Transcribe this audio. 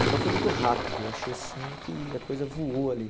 Então foi muito rápido, eu achei sim que a coisa voou ali.